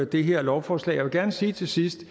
det her lovforslag vil gerne sige til sidst